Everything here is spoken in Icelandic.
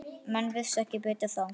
Menn vissu ekki betur þá.